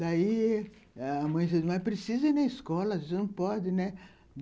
Daí, a mãe dizia, mas precisa ir na escola, você não pode, né?